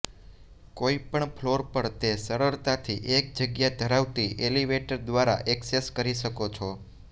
કોઈપણ ફ્લોર પર તે સરળતાથી એક જગ્યા ધરાવતી એલિવેટર દ્વારા ઍક્સેસ કરી શકો છો